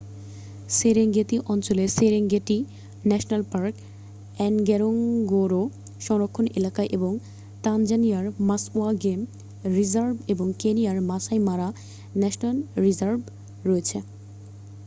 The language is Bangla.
সেরেঙ্গেতি অঞ্চলে সেরেঙ্গেটি ন্যাশনাল পার্ক এনগোরোঙ্গোরো সংরক্ষণ এলাকা এবং তানজানিয়ার মাসওয়া গেম রিজার্ভ এবং কেনিয়ার মাসাই মারা ন্যাশনাল রিজার্ভ রয়েছে